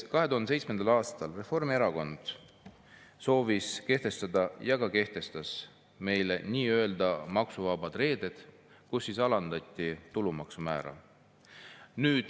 " 2007. aastal soovis Reformierakond kehtestada ja ka kehtestas nii-öelda maksuvabad reeded – alandati tulumaksu määra.